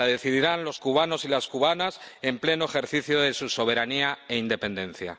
Lo decidirán los cubanos y las cubanas en pleno ejercicio de su soberanía e independencia.